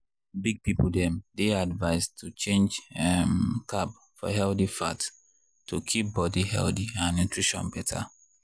big people dem dey advised to change um carb for healthy fat to keep body healthy and nutrition better.